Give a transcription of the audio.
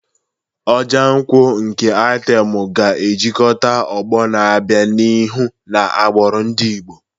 Ojo nkwu nke item ga-ejikọta ọgbọ na-abịa n'ihu na agbụrụ ndị Igbo.